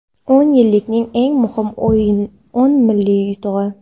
O‘n yillikning eng muhim o‘n ilmiy yutug‘i.